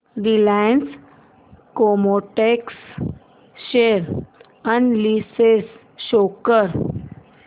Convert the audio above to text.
Reliance Chemotex share analysis show कर